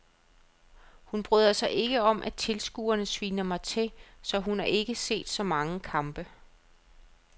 Hun bryder sig ikke om at tilskuerne sviner mig til, så hun har ikke set så mange kampe.